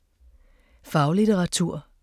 Faglitteratur